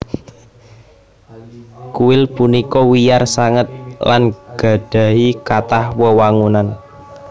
Kuil punika wiyar sanget lan gadhahi kathah wewangunan